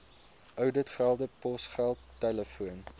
ouditgelde posgeld telefoon